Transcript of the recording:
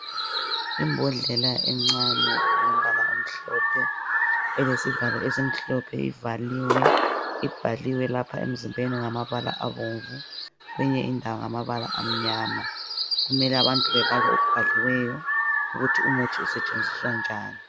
Imbodlela encane elombala omhlophe elesivalo esimhlophe ibhaliwe emzimbeni ngamabala abomvu. Kweyinye indawo ngamabala amnyama. Kumele abantu bebale okubhaliweyo ukuthi umuthi usetshenziswa njani.